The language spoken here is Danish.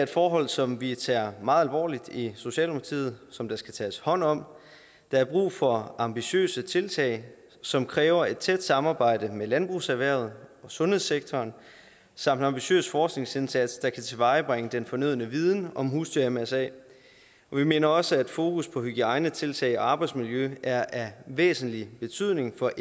forhold som vi tager meget alvorligt i socialdemokratiet som der skal tages hånd om der er brug for ambitiøse tiltag som kræver et tæt samarbejde med landbrugserhvervet og sundhedssektoren samt en ambitiøs forskningsindsats der kan tilvejebringe den fornødne viden om husdyr mrsa vi mener også at fokus på hygiejnetiltag og arbejdsmiljø er af væsentlig betydning for